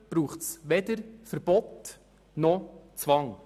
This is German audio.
Dazu braucht es weder Verbote noch Zwang.